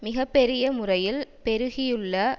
மிக பெரிய முறையில் பெருகியுள்ள